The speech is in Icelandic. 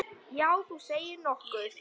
Já, þú segir nokkuð.